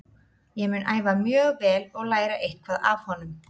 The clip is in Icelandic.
Ég mun æfa mjög vel og læra eitthvað af honum.